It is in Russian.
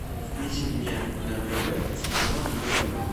включи мне на тв телеканал еврокино